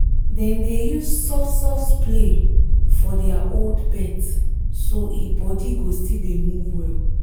dem dey use soft-soft play for their old pet so e body go still dey move well